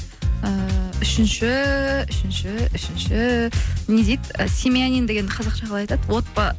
ііі үшінші үшінші үшінші не дейді семьянин дегенді қазақша қалай айтады